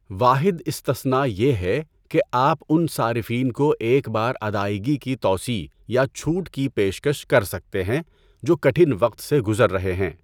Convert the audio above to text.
واحد استثناء یہ ہے کہ آپ ان صارفین کو ایک بار ادائیگی کی توسیع یا چھوٹ کی پیشکش کر سکتے ہیں جو کٹھن وقت سے گزر رہے ہیں۔